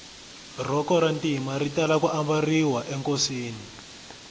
rhoko ra ntima ri tala ku mbariwa enkosini